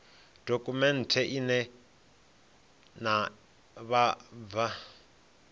dokhumenthe ine ya ṋea vhabvann